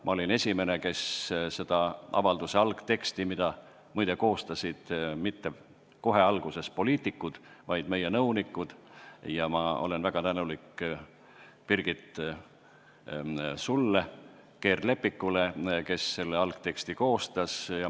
Ma olin esimene, kes nägi selle avalduse algteksti, mida, muide, ei koostanud algselt poliitikud, vaid meie nõunikud – ma olen väga tänulik Birgit Keerd-Leppikule, kes selle algteksti koostas.